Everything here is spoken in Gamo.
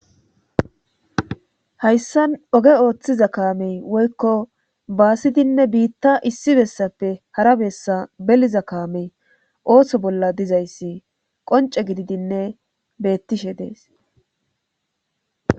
hayssan oge ooththiza kaamey woykko baasidinne biitta issi bessappe hara bessa beliza kaamey ooso bolla dizayssi qonce gididinne beettishe dees